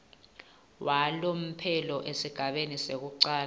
walomphelo esigabeni sekucala